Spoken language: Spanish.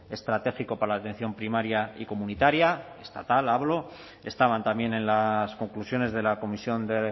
estratégico para la atención primaria y comunitaria estatal hablo estaban también en las conclusiones de la comisión de